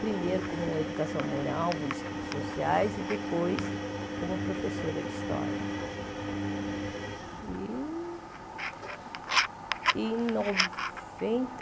Primeiro como educação moral, estudos sociais e depois como professora de história.